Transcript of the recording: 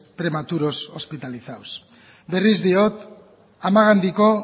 prematuros hospitalizados berriz diot amagandiko